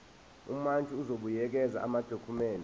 umantshi uzobuyekeza amadokhumende